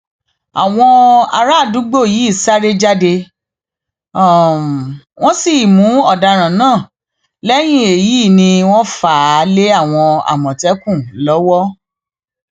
àwọn arábàdúgbò yìí sáré jáde wọn sì mú ọdaràn náà lẹyìn èyí ni wọn fà á lé àwọn àmọtẹkùn lọwọ